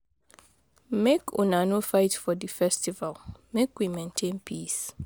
Make una no fight for di festival, make we maintain peace.